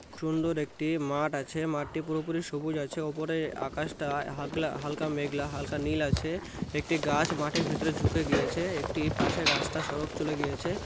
সুন্দর একটি মাঠ আছে মাঠটি পুরোপুরি সবুজ আছে উপরে আকাশটা হাগলা হালকা মেঘলা হালকা নীল আছে একটি গাছ মাটির ভিতরে ঝুকে গিয়েছে । একটি পাশে রাস্তা সড়ক চলে গিয়েছে।